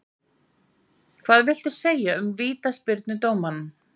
Hvað viltu segja um vítaspyrnudómana?